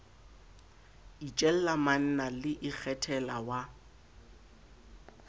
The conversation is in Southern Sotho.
itjella manna le ikgethela wa